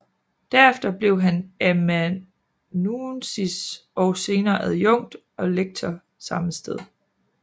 Derefter blev han amanuensis og senere adjunkt og lektor samme sted